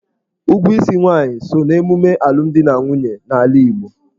Ụgwọ isi nwaanyị so n'ememe alụmdi na nwunye n'ala Igbo.